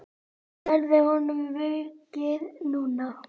Verður honum vikið núna?